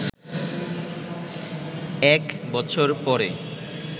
এক বছর পরে